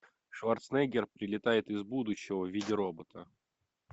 шварценеггер прилетает из будущего в виде робота